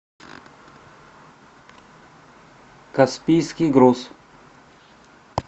каспийский груз